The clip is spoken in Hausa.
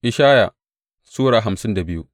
Ishaya Sura hamsin da biyu